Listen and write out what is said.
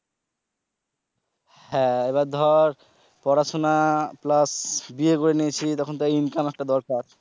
হ্যা এবার ধর পড়াশুনা plus বিয়ে করে নিয়েছি তখন তো income একটা দরকার।